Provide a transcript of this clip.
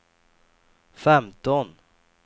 femton